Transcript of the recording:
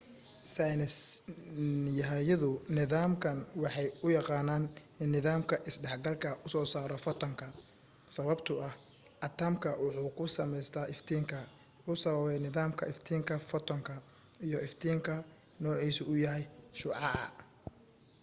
saynis yahanadu nidaamkan waxay u yaqaanaan nidaamka isdhex galka u soo saaro fotanka sababto ah atamka wuxuu ku sameysma iftiinka uu sababay nidaamka iftiinka fotanka iyo iftiinka noocisa yahay shucaca